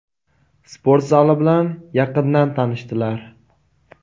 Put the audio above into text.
sport zali bilan yaqindan tanishdilar.